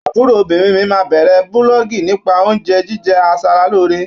Àbúròbìnrin mi máa bẹ̀rẹ̀ búlọ́ọ̀gì nípa oúnjẹ jíjẹ aṣaralóore.